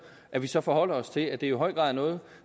at vi så forholder os til at det i høj grad er noget